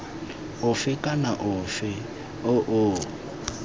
ofe kana ofe o o